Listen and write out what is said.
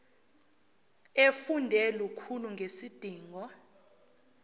efunde lukhulu ngesidingo